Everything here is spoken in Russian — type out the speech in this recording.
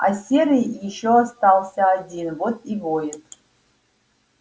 а серый ещё остался один вот и воет